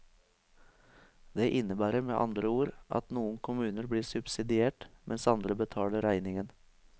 Det innebærer med andre ord at noen kommuner blir subsidiert, mens andre betaler regningen.